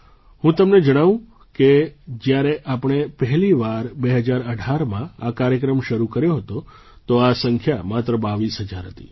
હું તમને જણાવું કે જ્યારે આપણે પહેલી વાર 2018માં આ કાર્યક્રમ શરૂ કર્યો હતો તો આ સંખ્યા માત્ર 22000 હતી